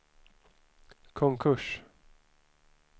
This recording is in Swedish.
konkurs